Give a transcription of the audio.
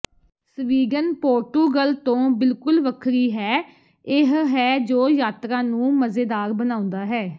Sweden Portugal ਤੋਂ ਬਿਲਕੁਲ ਵੱਖਰੀ ਹੈ ਇਹ ਹੈ ਜੋ ਯਾਤਰਾ ਨੂੰ ਮਜ਼ੇਦਾਰ ਬਣਾਉਂਦਾ ਹੈ